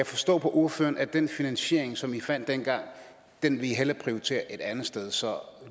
forstå på ordføreren at den finansiering som i fandt dengang vil i hellere prioritere et andet sted så